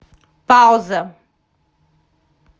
пауза